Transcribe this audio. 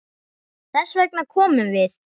Þess vegna komum við.